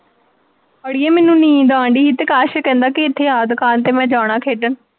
ਅੜੀਏ ਮੈਨੂੰ ਨੀਂਦ ਆਉਣ ਡਈ ਤੇ ਅਕਾਸ਼ ਕਹਿੰਦਾ ਕਿ ਇੱਥੇ ਆ ਦੁਕਾਨ ਤੇ ਮੈਂ ਜਾਣਾ ਖੇਡਣ